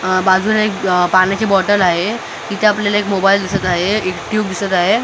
अ बाजूला एक पाण्याची बॉटल आहे तिथे आपल्याला एक मोबाईल दिसत आहे एक ट्यूब दिसत आहे अ --